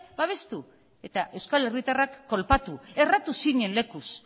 babestu eta euskal herritarrak kolpatu erratu zinen lekuz